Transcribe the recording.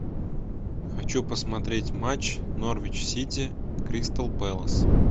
хочу посмотреть матч норвич сити кристал пэлас